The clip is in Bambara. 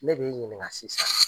Ne b'i ɲininka sisan.